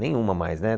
Nenhuma mais, né?